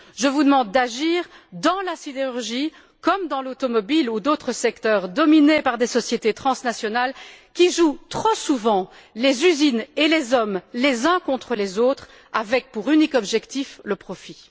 Je vous demande d'agir dans la sidérurgie comme dans l'automobile ou d'autres secteurs dominés par des sociétés transnationales qui jouent, trop souvent, les usines et les hommes les uns contre les autres, avec pour unique objectif le profit.